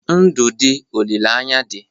Ndụ dị, olileanya dị